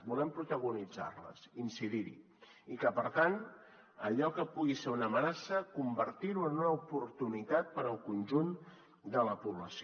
volem protagonitzar les incidir hi i que per tant allò que pugui ser una amenaça convertir ho en una oportunitat per al conjunt de la població